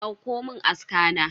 Dauko mun aska na.